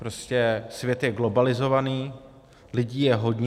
Prostě svět je globalizovaný, lidí je hodně.